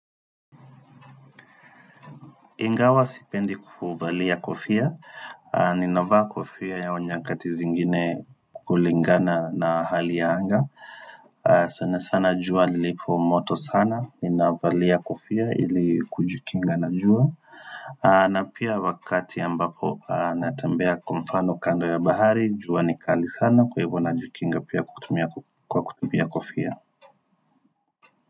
Ingawa sipendi kuvalia kofia, ninavaa kofia ya au nyakati zingine kukulingana na hali ya anga sana sana jua lilipo moto sana, ninavalia kofia ili kujikinga na jua. Na pia wakati ya mbapo natambea kumfano kando ya bahari, jua ni kali sana kwa hivyo na jikinga pia kutumia kwa kutumia kofia.